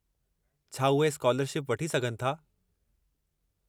छा उहे स्कालरशिप वठी सघनि था?